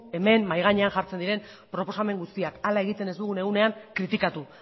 hemen mahai gainean jartzen diren proposamen guztiak hala egiten ez dugu egunean kritikatu